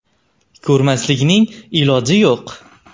Ko‘rmaslikning iloji yo‘q!